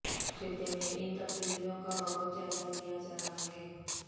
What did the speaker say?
خطے میں ان تبدیلیوں کا بغور جائزہ لیا جا رہا ہے